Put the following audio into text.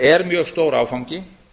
er mjög stór áfangi